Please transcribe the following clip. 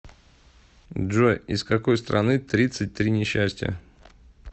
джой из какой страны тридцать три несчастья